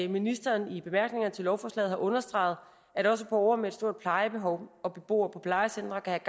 ministeren i bemærkningerne til lovforslaget har understreget at også borgere med et stort plejebehov og beboere på plejecentre kan